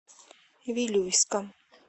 вилюйска